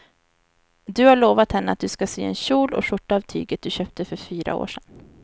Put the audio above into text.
Du har lovat henne att du ska sy en kjol och skjorta av tyget du köpte för fyra år sedan.